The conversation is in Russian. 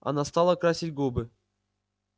она стала красить губы